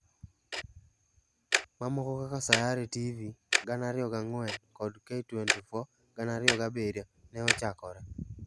Mamoko kaka Sayare TV(2004) kod K24(2007) ne ochakore.